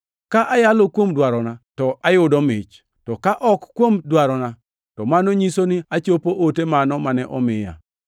Ka ayalo kuom dwarona to ayudo mich, to ka ok kuom dwarona, to mano nyiso ni achopo ote mano mane omiya.